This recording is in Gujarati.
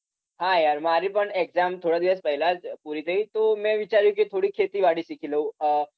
હા યાર મારી પણ exam થોડા દિવસ પહેલા જ પુરી થઇ તો મેં વિચાર્યું કે થોડી ખેતીવાડી શીખી લઉ અમ